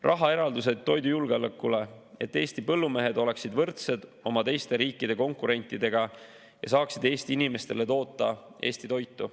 Rahaeraldused toidujulgeolekule, et Eesti põllumehed oleksid võrdsed oma teiste riikide konkurentidega ja saaksid Eesti inimestele toota Eesti toitu.